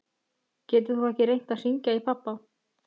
Getur þú ekki reynt að hringja í pabba?